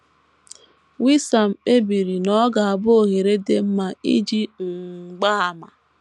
Wissam kpebiri na ọ ga - abụ ohere dị mma iji um gbaa àmà.